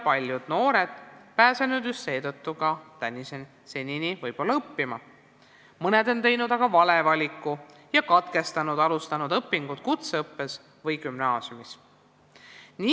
Paljud noored pole just seetõttu senini õppima pääsenud, mõned on teinud aga vale valiku ja alustatud õpingud kutseõppes või gümnaasiumis hiljem katkestanud.